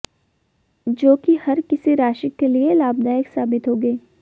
जो कि हर किसी राशि के लिए लाभदायक साबित होगे